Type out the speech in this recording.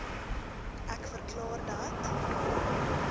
ek verklaar dat